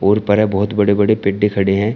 बहुत बड़े बड़े पेडे खड़े हैं।